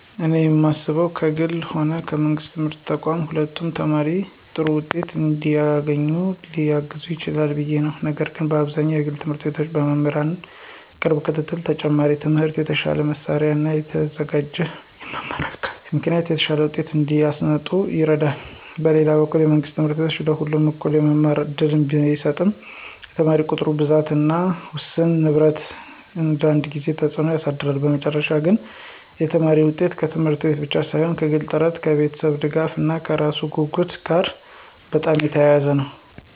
እኔ የማስበው ከግልም ሆነ ከመንግሥት የትምህርት ተቋማት ሁለቱም ተማሪ ጥሩ ውጤት እንዲያገኝ ሊያግዙ ይችላሉ ብዬ ነው፤ ነገር ግን በአብዛኛው የግል ት/ቤቶች በመምህራን ቅርብ ክትትል፣ ተጨማሪ ትምህርት፣ የተሻለ መሳሪያ እና የተዘጋጀ የመማር አካባቢ ምክንያት የተሻለ ውጤት እንዲያመጡ ይረዳሉ። በሌላ በኩል መንግሥት ት/ቤቶች ለሁሉም እኩል የመማር እድል ቢሰጡም የተማሪ ቁጥር ብዛት እና ውስን ንብረት አንዳንድ ጊዜ ተጽዕኖ ያሳድራሉ። በመጨረሻ ግን የተማሪ ውጤት ከት/ቤቱ ብቻ ሳይሆን ከግል ጥረት፣ ከቤተሰብ ድጋፍ እና ከራሱ ጉጉት ጋር በጣም የተያያዘ ነው።